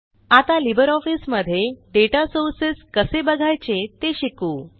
आता लिब्रिऑफिस मध्ये data sources कसे बघायचे ते शिकू